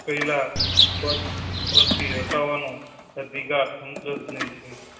પેહલા પદ પર થી હટાવાનો અધિકાર સંસદ ને છે.